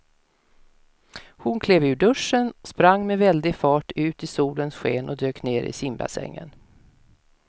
Hon klev ur duschen, sprang med väldig fart ut i solens sken och dök ner i simbassängen.